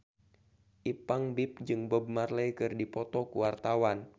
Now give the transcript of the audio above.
Ipank BIP jeung Bob Marley keur dipoto ku wartawan